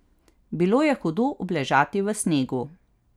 Bilo je hudo obležati v snegu.